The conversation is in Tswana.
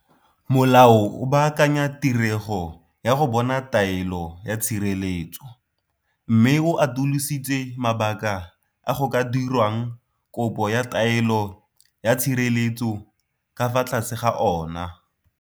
Molao o baakanya tirego ya go bona taelo ya tshireletso, mme o atolositse mabaka a go ka dirwang kopo ya taelo ya tshireletso ka fa tlase ga ona.